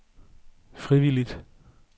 frivilligt